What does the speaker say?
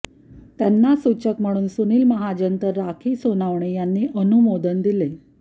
त्यांना सूचक म्हणून सुनील महाजन तर राखी सोनवणे यांनी अनुमोदन दिले